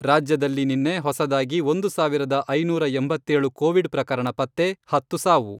ರಾಜ್ಯದಲ್ಲಿ ನಿನ್ನೆ ಹೊಸದಾಗಿ ಒಂದು ಸಾವಿರದ ಐನೂರ ಎಂಬತ್ತೇಳು ಕೋವಿಡ್ ಪ್ರಕರಣ ಪತ್ತೆ, ಹತ್ತು ಸಾವು.